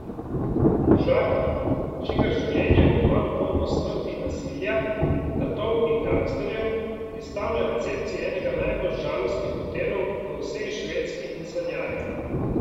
Možak, čigar življenje bo kmalu polno smrti in nasilja, tatov in gangsterjev, je stal na recepciji enega najbolj žalostnih hotelov v vsej Švedski in sanjaril.